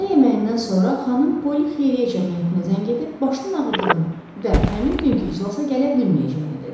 Günorta yeməyindən sonra xanım Polli Xeyriyyə Cəmiyyətinə zəng edib başın ağrıdığını və həmin günkü iclasa gələ bilməyəcəyini dedi.